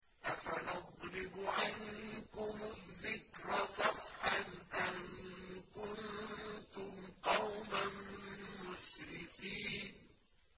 أَفَنَضْرِبُ عَنكُمُ الذِّكْرَ صَفْحًا أَن كُنتُمْ قَوْمًا مُّسْرِفِينَ